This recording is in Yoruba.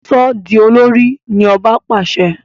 So di olórí! ní ọba pàṣẹ.